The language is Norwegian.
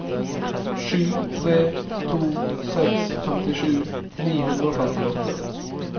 sju tre to seks femtisju ni hundre og femtiåtte